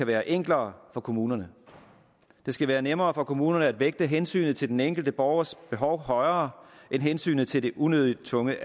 være enklere for kommunerne det skal være nemmere for kommunerne at vægte hensynet til den enkelte borgers behov højere end hensynet til de unødig tunge